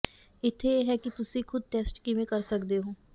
ਇੱਥੇ ਇਹ ਹੈ ਕਿ ਤੁਸੀਂ ਖੁਦ ਟੈਸਟ ਕਿਵੇਂ ਕਰ ਸਕਦੇ ਹੋ